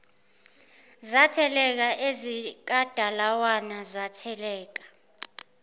zatheleka ezikadalawane zatheleka